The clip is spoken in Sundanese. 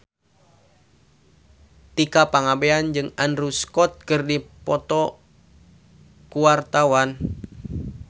Tika Pangabean jeung Andrew Scott keur dipoto ku wartawan